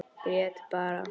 Grét bara.